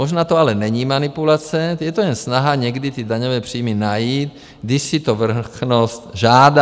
Možná to ale není manipulace, je to jen snaha někdy ty daňové příjmy najít, když si to vrchnost žádá.